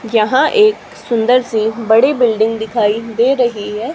यहां एक सुंदर सी बड़ी बिल्डिंग दिखाई दे रही है।